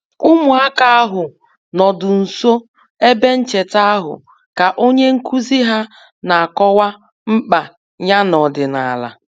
Ụmụaka ahụ nọdụ nso ebe ncheta ahụ ka onye nkuzi ha na-akọwa mkpa ya n'omenala